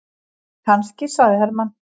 Kannski, sagði Hermann.